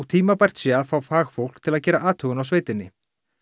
tímabært sé að fá fagfólk til að gera athugun á sveitinni